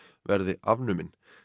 verði afnumin